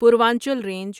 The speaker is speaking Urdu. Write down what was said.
پوروانچل رینج